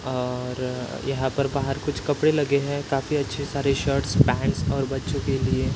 अ और यहाँ पर बाहर कुछ कपडे लगे है काफी अच्छे सारे शर्ट्स पँट्स और बच्चो के लिए--